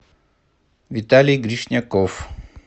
виталий гришняков